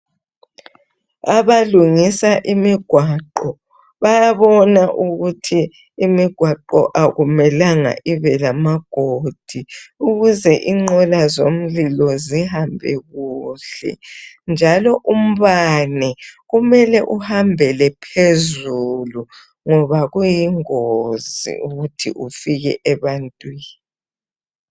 Abalungisa imigwaqo bayabona ukuthi imigwaqo akumelanga ibe lamagodi ukuze inqola zomlilo zihambe kuhle njalo umbane kumele uhambele phezulu ngoba kuyingozi ukuthi ufike ebantwini.